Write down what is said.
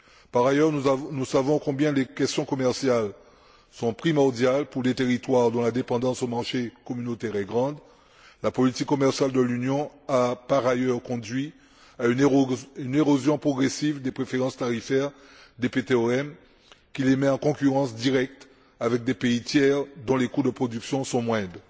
Par ailleurs, nous savons combien les questions commerciales sont primordiales pour les territoires dont la dépendance aux marchés communautaires est grande. La politique commerciale de l'Union a, par ailleurs, conduit à une érosion progressive des préférences tarifaires des PTOM, qui les met en concurrence directe avec des pays tiers dont les coûts de production sont moindres.